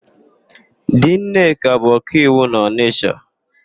Di Nneka bụ ọkaiwu na ọnịsha.